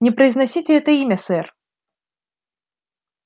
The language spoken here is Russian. не произносите это имя сэр